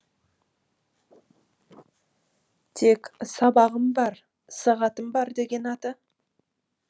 тек сабағым бар сағатым бар деген аты